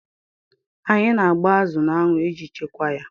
Anyị na agba azụ n'anwụ iji Chekwaa ya